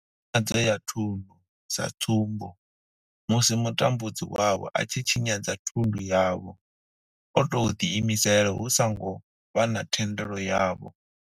Tshinyadzo ya thundu, sa tsumbo, musi mutambudzi wavho a tshi tshinyadza thundu yavho o tou ḓiimisela hu songo vha na thendelo yavho.